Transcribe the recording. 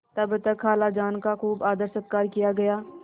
तब तक खालाजान का खूब आदरसत्कार किया गया